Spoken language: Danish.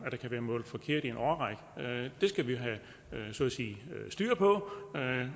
at der kan være mål forkert i en årrække det skal vi have styr på